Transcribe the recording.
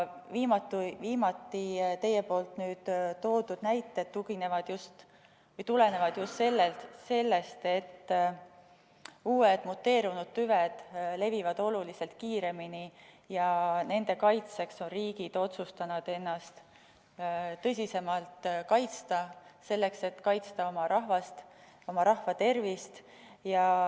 Teie viimati toodud näited tulenevad just sellest, et uued muteerunud tüved levivad oluliselt kiiremini ja nende eest on riigid otsustanud ennast tõsisemalt kaitsta, selleks et hoida oma rahvast, oma rahva tervist.